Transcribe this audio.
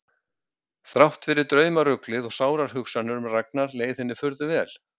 Þrátt fyrir draumaruglið og sárar hugsanir um Ragnar leið henni furðu vel.